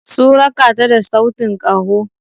Sun raka ta da sautin kaho.